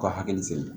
U ka hakili sigi